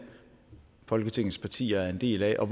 folketingets partier er en del af og